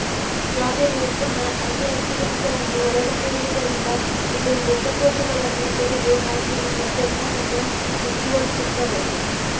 strawberry ಉತ್ತಮ ಆಂಟಿಆಕ್ಸಿಡೆಂಟ್ಗಳನ್ನು ಒಳಗೊಂಡಿರುವುದರಿಂದ ಇದು ಮೃತ ಕೋಶಗಳನ್ನು ತೆಗೆದು ಹಾಕಿ ನಿಮ್ಮ ಚರ್ಮವನ್ನು ಬಿಗಿಗೊಳಿಸುತ್ತದೆ